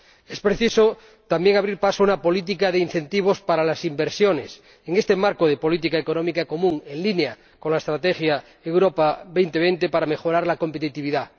Es preciso, también, abrir paso a una política de incentivos para las inversiones en este marco de política económica común en línea con la Estrategia Europa 2020, para mejorar la competitividad.